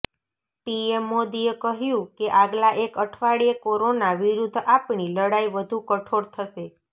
PM મોદીએ કહ્યું કે આગલા એક અઠવાડિયે કોરોના વિરુદ્ધ આપણી લડાઈ વધુ કઠોર થશે